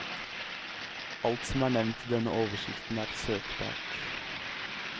Alt som er nevnt i denne oversikten er søkbart.